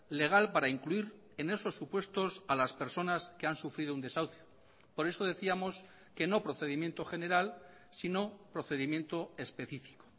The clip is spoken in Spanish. legal para incluir en esos supuestos a las personas que han sufrido un desahucio por eso decíamos que no procedimiento general sino procedimiento específico